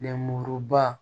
Lenmuruba